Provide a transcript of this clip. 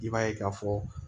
I b'a ye k'a fɔ